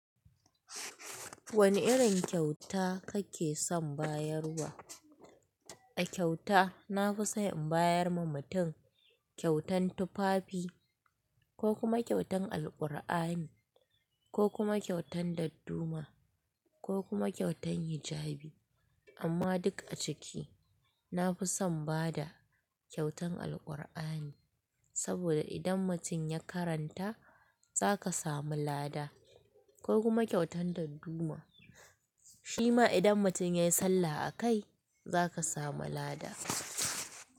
Wani irin kyauta kake son bayarwa? A kyauta na fi son in bayar wa mutum kyautan tufafi ko kuma kyautan Alkur'ani ko kuma kyautan dadduma ko kuma kyautan hijabi. Amma duk a ciki na fi son bada kyautan Alkur'ani saboda idan mutum ya karanta za ka samu lada ko kuma kyautan dadduma shima idan mutum ya yi sallah a kai za ka samu lada.